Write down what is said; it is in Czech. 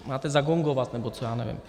Máte zagongovat nebo co, já nevím.